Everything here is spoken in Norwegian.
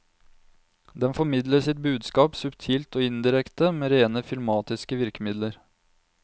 Den formidler sitt budskap subtilt og indirekte, med rene filmatiske virkemidler.